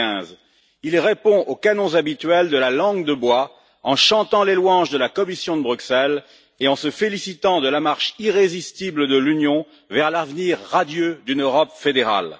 2015. Il répond aux canons habituels de la langue de bois, en chantant les louanges de la Commission de Bruxelles et en se félicitant de la marche irrésistible de l'Union vers l'avenir radieux d'une Europe fédérale.